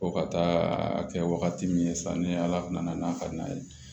Ko ka taa a kɛ wagati min ye sa ni ala nana n'a ka na ye